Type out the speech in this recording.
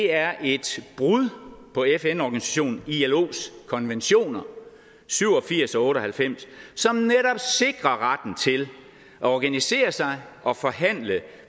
er et brud på fn organisationen ilos konventioner syv og firs og otte og halvfems som netop sikrer retten til at organisere sig og forhandle